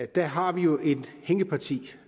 der har vi jo et hængeparti